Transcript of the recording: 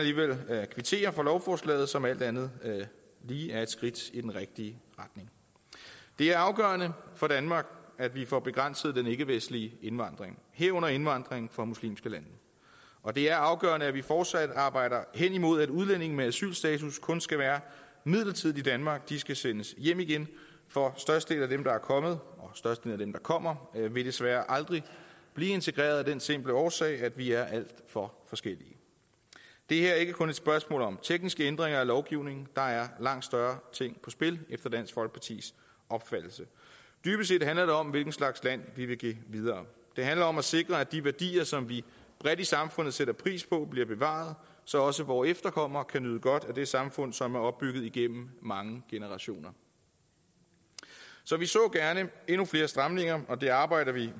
kvittere for lovforslaget som alt andet lige er et skridt i den rigtige retning det er afgørende for danmark at vi får begrænset den ikkevestlige indvandring herunder indvandring fra muslimske lande og det er afgørende at vi fortsat arbejder hen imod at udlændinge med asylstatus kun skal være midlertidigt i danmark at de skal sendes hjem igen for størstedelen af dem der er kommet og størstedelen der kommer vil desværre aldrig blive integreret af den simple årsag at vi er alt for forskellige det her er ikke kun et spørgsmål om tekniske ændringer af lovgivningen der er langt større ting på spil efter dansk folkepartis opfattelse dybest set handler det om hvilken slags land vi vil give videre det handler om at sikre at de værdier som vi bredt i samfundet sætter pris på bliver bevaret så også vore efterkommere kan nyde godt af det samfund som er opbygget igennem mange generationer så vi så gerne endnu flere stramninger og det arbejder vi